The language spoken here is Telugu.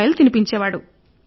బీరకాయ సొరకాయ